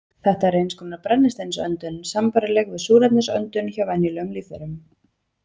Þetta er eins konar brennisteinsöndun, sambærileg við súrefnisöndun hjá venjulegum lífverum.